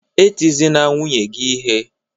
E tizina nwunye gị ihe!